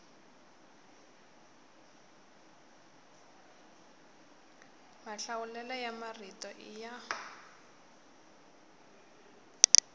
mahlawulelo ya marito i ya